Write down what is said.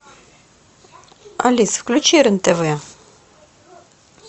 алиса включи рен тв